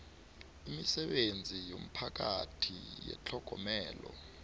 iimisebenzi yomphakathi yetlhogomelo